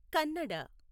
Kannada